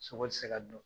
Sogo ti se ka dun